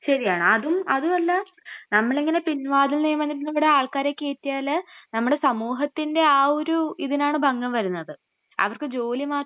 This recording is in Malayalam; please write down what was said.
ശരിയാണ്, അതും, അതുമല്ല..നമ്മളിങ്ങനെ പിൻവാതിൽ നിയമനത്തിൽ കൂടെ ആൾക്കാരെ കയറ്റിയാല് നമ്മുടെ സമൂഹത്തിൻ്റെ ആ ഒരു ഇതിനാണ് ഭംഗം വരുന്നത്. അവർക്ക് ജോലി മാത്രം ..